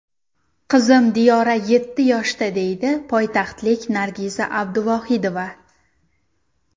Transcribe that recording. Qizim Diyora yetti yoshda, deydi poytaxtlik Nargiza Abduvohidova.